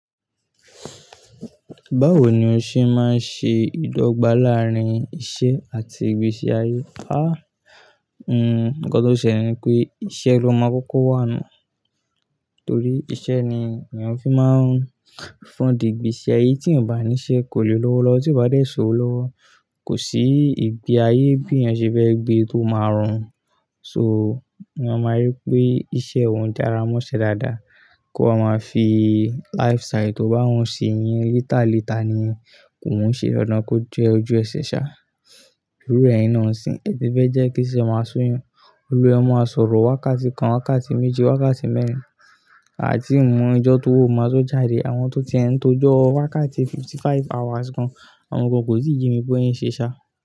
Báwo ni o ṣe máa ń ṣe ìdọ́gba láàárín iṣẹ́ àti ìgbésí ayé? Àh! Nǹkan tó ṣe ni pé iṣẹ́ lo máa ń kọ́kọ́ wà ná Torí iṣẹ́ ni èèyàn fi máa ń fọ́n di ìgbésí ayé. Tí ò bá ní iṣẹ́ kò lè lọ́wọ́ lọ. Tí o bá dé sí owó lówó, kò sí ìgbé ayé bí èèyàn ṣe fẹ́ gbé tó máa rọrùn So, èèyàn máa rí pé iṣẹ́ òun dára mọ́ ṣe dáadáa. Kó máa fi lifestyle tó bá wù sí yin líta líta ni kó máa ń ṣe lọ́nà tó jẹ́ ojúẹ̀sẹ̀ ṣá. Lórí ẹ̀yin náà òsì, ẹ ti fẹ́ jẹ́ kí iṣẹ́ máa sún yin. Òro ẹ máa sọ̀rọ̀ wákàtí kan, wákàtí méjì, wákàtí mẹ́rin, àbí ìmu ìjọ́ tó wò máa tó jáde. Àwọn tó ti ń tojọ́ wákàtí fifty-five hours kan, àwọn kan kò tíì jí mi bóyán ṣe ṣá.